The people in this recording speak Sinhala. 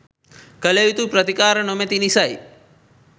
කළ යුතු ප්‍රතිකාර නොමැති නිසයි